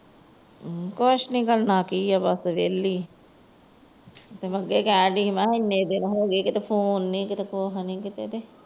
ਕੁਛ ਨਹੀਂ ਕਰਨਾ ਕੀ ਏ ਬੱਸ ਵੇਹਲੀ। ਅੱਗੇ ਕਹਿ ਰਹੀ ਸ। ਕਿੰਨੇ ਦਿਨ ਹੋ ਗਏ ਕੋਈ Phone ਨਹੀਂ ਕੁਛ ਨਹੀਂ।